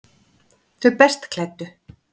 Þau best klæddu